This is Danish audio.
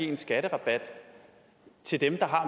en skatterabat til dem der har